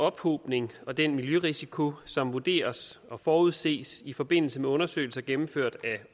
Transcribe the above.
ophobning og den miljørisiko som vurderes og forudses i forbindelse med undersøgelser gennemført af